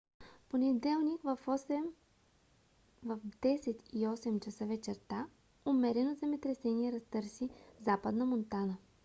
в понеделник в 10:08 ч. вечерта умерено земетресение разтърси западна монтана